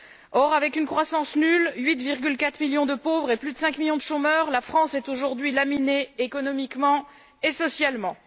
Or, avec une croissance nulle, 8,4 millions de pauvres et plus de 5 millions de chômeurs, la France est aujourd'hui laminée économiquement et socialement.